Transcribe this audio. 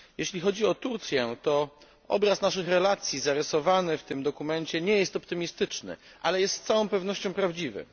Jeśli chodzi o Turcję, to obraz naszych relacji zarysowany w tym dokumencie nie jest optymistyczny, ale jest z całą pewnością prawdziwy.